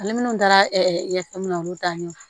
Ale minnu taara ɲɛfɛ minɛ na olu ta ɲɛ